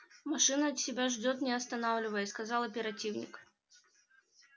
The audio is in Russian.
машина тебя ждёт не останавливаясь сказал оперативник